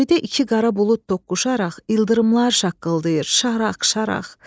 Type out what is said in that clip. Göydə iki qara bulud toqquşaraq ildırımlar şaqqıldayır, şaraq-şaraq.